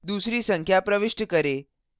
दूसरी संख्या प्रविष्ट करें